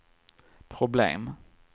problem